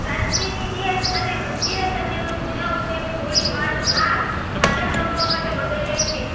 પ્રાચીન ઇતિહાસ અને મંજીરા સદીઓ જૂના ઉપયોગ થોડી માર્ગ આ સાધન રમવા માટે બદલ્યો છે